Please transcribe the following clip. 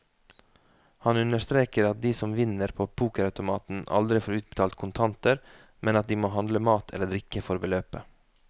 Han understreker at de som vinner på pokerautomaten aldri får utbetalt kontanter, men at de må handle mat eller drikke for beløpet.